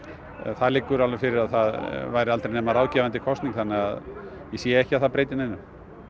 það liggur alveg fyrir að það væri aldrei nema ráðgefandi kosning þannig að ég sé ekki að það breyti neinu